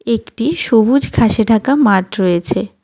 একটি সবুজ ঘাসে ঢাকা মাঠ রয়েছে.